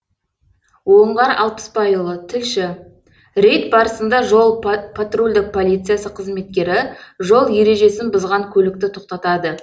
оңғар алпысбайұлы тілші рейд барысында жол патрульдік полициясы қызметкері жол ережесін бұзған көлікті тоқтатады